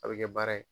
A bɛ kɛ baara ye